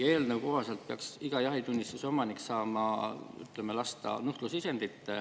Eelnõu kohaselt peaks iga jahitunnistuse omanik saama lasta nuhtlusisendit.